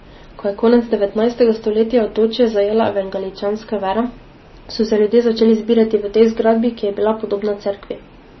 Ko je konec devetnajstega stoletja otočje zajela evangeličanska vera, so se ljudje začeli zbirati v tej zgradbi, ki je bila podobna cerkvi.